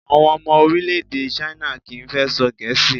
Àwọn ọmọ orílẹ̀-èdè China kì í fẹ́ sọ Gẹ̀ẹ́sì